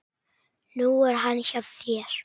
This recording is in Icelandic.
Nú er hann hjá þér.